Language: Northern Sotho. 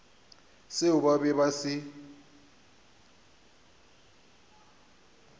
seo ba bego ba se